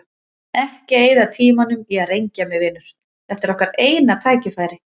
Ekki eyða tímanum í að rengja mig, vinur, þetta er okkar eina tækifærið.